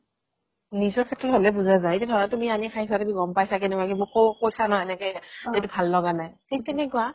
নিজৰ শেত্ৰত হ'লে বুজা যাই এতিয়া ধৰা তুমি আনি খাইছা তুমি গ'ম পাইছা কেনেকুৱা কি মোকো কৈছা ন এনেকে কি এইটো ভাল লগা নাই থিক তেনেকুৱা